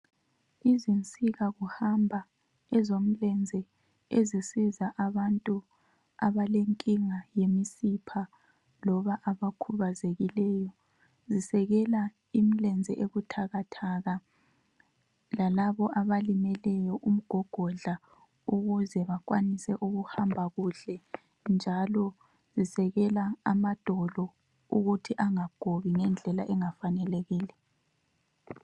Izinsika kuhamba ezomleze ezisiza abantu abalenkinga yemisipha loba abakhubazekileyo zisekela imilenze ebuthakathaka lalabo abalimeleyo umgogodla ukuze bakwanise ukuhamba kuhle, njalo zisekela amadolo ukuthi angagobi ngendlela engafanelekile.